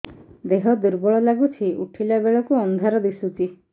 ଦେହ ଦୁର୍ବଳ ଲାଗୁଛି ଉଠିଲା ବେଳକୁ ଅନ୍ଧାର ଦିଶୁଚି